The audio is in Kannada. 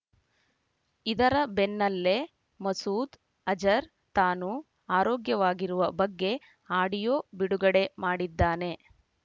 ಇದರ ಬೆನ್ನಲ್ಲೆ ಮಸೂದ್ ಅಜರ್ ತಾನು ಆರೋಗ್ಯವಾಗಿರುವ ಬಗ್ಗೆ ಆಡಿಯೋ ಬಿಡುಗಡೆ ಮಾಡಿದ್ದಾನೆ